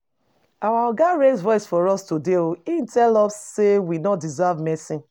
Our Oga raise voice for us today. He tell us say we no deserve mercy.